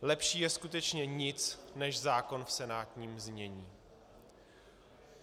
Lepší je skutečně nic než zákon v senátním znění.